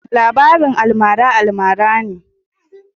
labarin almara almara ne.